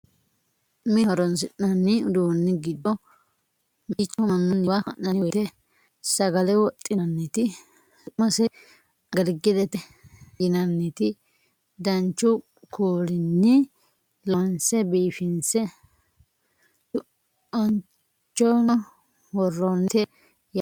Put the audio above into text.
mine horonsi'nanni uduunni giddo mitticho mannunniwa ha'nanni woyiite sagale wodhinanniti su'mase agilgilete yinanniti danchu kuulinni lonse biifinse tu"anchono worroonnite yaate